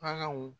An kaw